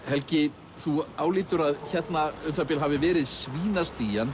helgi þú álítur að hérna um það bil hafi verið